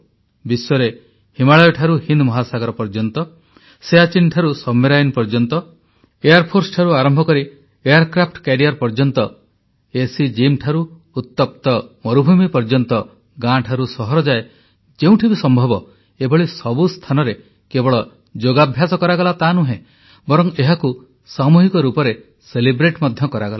ବିଶ୍ୱରେ ହିମାଳୟଠାରୁ ହିନ୍ଦ୍ ମହାସାଗର ପର୍ଯ୍ୟନ୍ତ ସିୟାଚିନରୁ ସବମେରାଇନ ପର୍ଯ୍ୟନ୍ତ ଏୟାରଫୋର୍ସଠାରୁ ଆରମ୍ଭ କରି ଏୟାରକ୍ରାଫ୍ଟ କ୍ୟାରିୟର ପର୍ଯ୍ୟନ୍ତ ଏୟାର କଂଡିସନ ଜିମ ଠାରୁ ଉତ୍ତପ୍ତ ମରୁଭୂମି ପର୍ଯ୍ୟନ୍ତ ଗାଁଠାରୁ ସହର ଯାଏ ଯେଉଁଠି ବି ସମ୍ଭବ ଏଭଳି ସବୁ ସ୍ଥାନରେ କେବଳ ଯୋଗାଭ୍ୟାସ କରାଗଲା ତା ନୁହେଁ ବରଂ ଏହାକୁ ସାମୁହିକ ରୂପରେ ମଧ୍ୟ କରାଗଲା